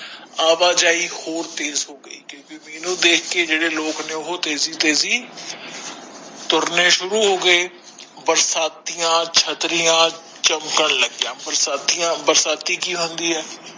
ਆਵਾ ਜਾਇ ਔਰ ਤੇਜ ਹੋਗਈ ਕਿਉਕਿ ਮੀਹ ਨੂੰ ਦੇਖ ਕੇ ਜੇਡੇ ਲੋਕ ਨੇ ਉਹ ਤੇਜੀ ਤੇਜੀ ਤੁਰਨੇ ਸ਼ੁਰੂ ਹੋਗਏ ਬਰਸਾਤੀਆਂ ਛੱਤਰੀਆਂ ਚਮਕਣ ਲੱਗਯਾ ਬਰਸਾਤੀਆਂ ਬਰਸਾਤੀ ਕਿ ਹੁੰਦੀ ਹੈ